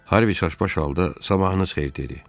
Harvi çaş-baş halda "Sabahınız xeyir!" dedi.